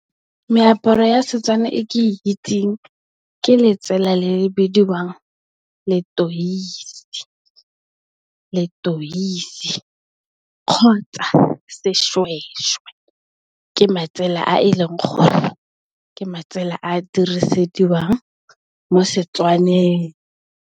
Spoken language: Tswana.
Meaparo ya Setswana e ke itseng ke letsela le le bidiwang Letoisi, kgotsa Seshweshwe, ke matsela a e leng gore a dirisediwang mo Setswaneng.